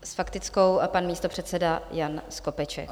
S faktickou a pan místopředseda Jan Skopeček.